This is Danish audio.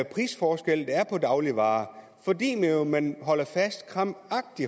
prisforskel der er på dagligvarer man